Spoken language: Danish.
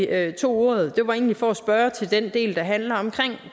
at jeg tog ordet var egentlig for at spørge til den del der handler om